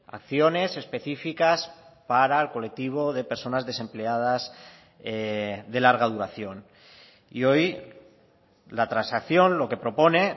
acciones específicas para el colectivo de personas desempleadas de larga duración y hoy la transacción lo que propone